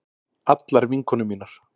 Allar vinkonur mínar.